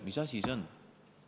Mis asi see on?